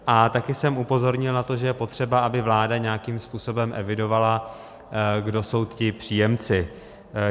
A taky jsem upozornil na to, že je potřeba, aby vláda nějakým způsobem evidovala, kdo jsou ti příjemci.